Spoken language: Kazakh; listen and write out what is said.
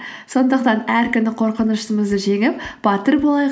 сондықтан әр күні қорқынышымызды жеңіп батыр болайық